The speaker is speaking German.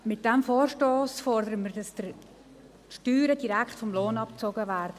Mit diesem Vorstoss fordern wir, dass die Steuern direkt vom Lohn abgezogen werden.